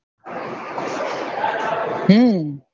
હમ